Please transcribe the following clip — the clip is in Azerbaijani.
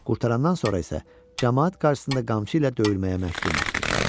Qurtarandan sonra isə camaat qarşısında qamçı ilə döyülməyə məhkum etdi.